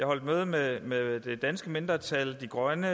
holdt møde med med det danske mindretal de grønne